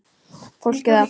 Fólkið á